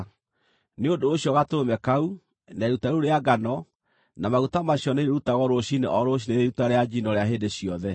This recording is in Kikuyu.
Nĩ ũndũ ũcio gatũrũme kau, na iruta rĩu rĩa ngano, na maguta macio nĩirĩrutagwo rũciinĩ o rũciinĩ rĩrĩ iruta rĩa njino rĩa hĩndĩ ciothe.